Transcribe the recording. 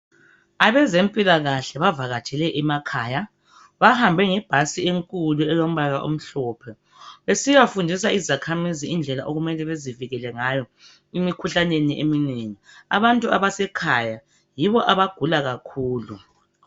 Abezempilakahle bavakatshele emakhaya. Bahambe ngebhasi enkulu elombala omhlophe besiya fundisa izakhamizi indlela okumele bazivikele ngayo emikhuhlaneni eminengi. Abantu abasekhaya yibo abagula kakhulu.